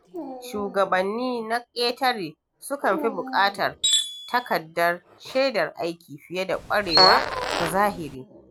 Shugabanni na ƙetare sukan fi buƙatar takardar shaidar aiki fiye da ƙwarewa ta zahiri.